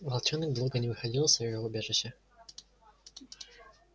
волчонок долго не выходил из своего убежища